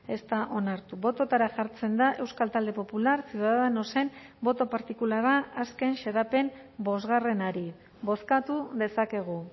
ez da onartu bototara jartzen da euskal talde popular ciudadanosen boto partikularra azken xedapen bosgarrenari bozkatu dezakegu